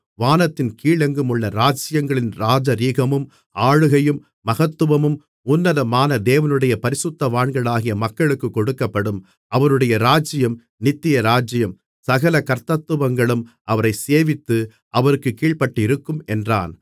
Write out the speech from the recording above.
வானத்தின் கீழெங்குமுள்ள ராஜ்ஜியங்களின் ராஜரிகமும் ஆளுகையும் மகத்துவமும் உன்னதமான தேவனுடைய பரிசுத்தவான்களாகிய மக்களுக்குக் கொடுக்கப்படும் அவருடைய ராஜ்ஜியம் நித்திய ராஜ்ஜியம் சகல கர்த்தத்துவங்களும் அவரைச் சேவித்து அவருக்குக் கீழ்ப்பட்டிருக்கும் என்றான்